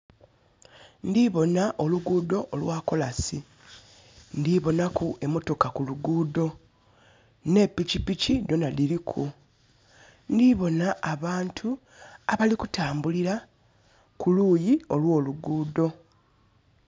Ndhiboona oluguudo olwakolansi, ndhiboonha ku emotoka kuluguudo nhe pikipiki dhona dhiriku. Ndhiboona abantu abali kutambulila kuluyi olwoluguudo.